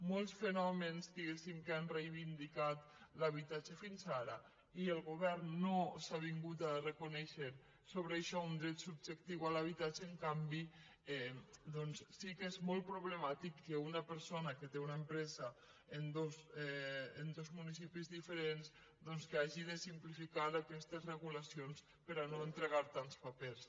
molts fenòmens diguéssim que han reivindicat l’habitatge fins ara i el govern no s’ha avingut a re·conèixer sobre això un dret subjectiu a l’habitatge en canvi doncs sí que és molt problemàtic que una per·sona que té una empresa en dos municipis diferents doncs que hagi de simplificar aquestes regulacions per a no entregar tants papers